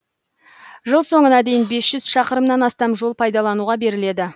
жыл соңына дейін без жүз шықырымнан астам жол пайдалануға беріледі